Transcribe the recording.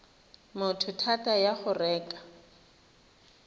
motho thata ya go reka